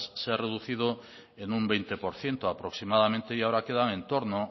se ha reducido en un veinte por ciento aproximadamente y ahora quedan en torno